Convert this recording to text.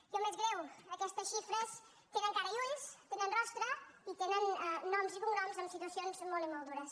i el més greu aquestes xifres tenen cara i ulls tenen rostre i tenen noms i cognoms amb situacions molt i molt dures